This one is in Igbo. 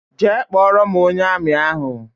Jee kpọrọ m ónyé armi ahụ!!!